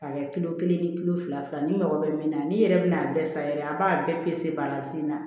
A kɛ kilo kelen ye kilo fila fila n'i mago bɛ min na n'i yɛrɛ bɛn'a bɛɛ san yɛrɛ a b'a bɛɛ balansina